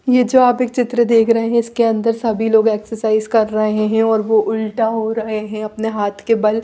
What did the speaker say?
ये जो आप एक चित्र देख रहे है इसके अंदर सभी लोग एक्सर्साइज़ कर रहे है और वो उलटा हो रहे है अपने हाथ के बल--